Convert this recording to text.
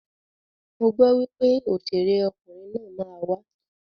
Mo gbọ wípé òṣèré ọkunrin naa ma wa.